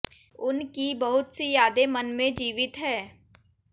उन की बहुत सी यादें मन में जीवित हैं